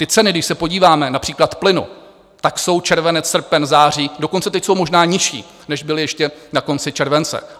Ty ceny, když se podíváme, například plynu, tak jsou červenec, srpen, září, dokonce teď jsou možná nižší, než byly ještě na konci července.